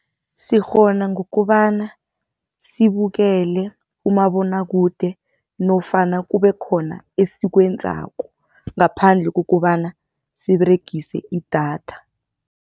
Sikghona ngokobana sibukele umabonwakude nofana kube khona esikwenzako ngaphandle kukobana siberegise idatha.